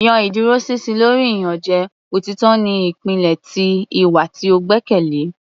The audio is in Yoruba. yan iduroṣinṣin lori iyanjẹ; Otitọ ni ipilẹ ti iwa ti o gbẹkẹle.